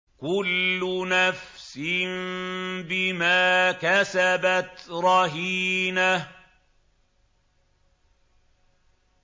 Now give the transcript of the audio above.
كُلُّ نَفْسٍ بِمَا كَسَبَتْ رَهِينَةٌ